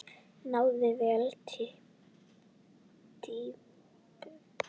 Náði vel týpum og röddum.